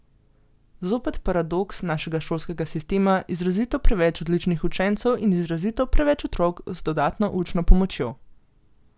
Zopet paradoks našega šolskega sistema, izrazito preveč odličnih učencev in izrazito preveč otrok z dodatno učno pomočjo.